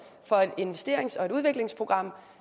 for et investerings og udviklingsprogram